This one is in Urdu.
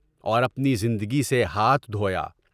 اور اپنی زندگی سے ہاتھ دھویا۔